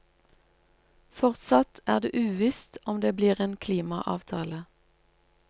Fortsatt er det uvisst om det blir en klimaavtale.